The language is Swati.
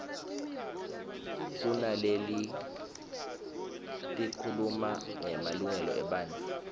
kunaletikhuluma ngemalungelo ebantfu